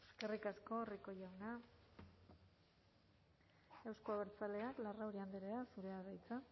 eskerrik asko rico jauna euzko abertzaleak larrauri andrea zurea da hitza